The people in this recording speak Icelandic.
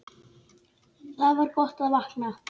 Það var gott að vakna.